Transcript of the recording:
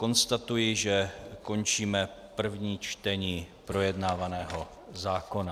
Konstatuji, že končíme první čtení projednávaného zákona.